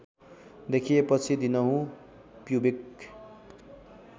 देखिएपछि दिनहुँ प्युबिक